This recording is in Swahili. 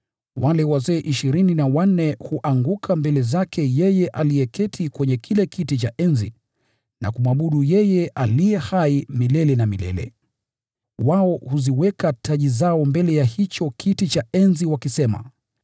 wale wazee ishirini na wanne huanguka mbele zake aketiye kwenye kiti cha enzi na kumwabudu yeye aliye hai milele na milele. Huziweka taji zao mbele ya kiti cha enzi, wakisema: